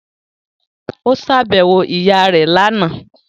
Ó ṣàbẹ̀wò ìyá rẹ̀ lánàá